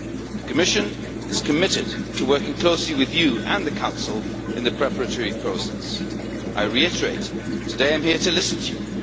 The Commission is committed to working closely with you and the Council in the preparatory process. I reiterate that today I am here to listen to you.